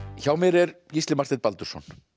hjá mér er Gísli Marteinn Baldursson